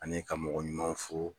Ani ka mɔgɔ ɲumanw fo.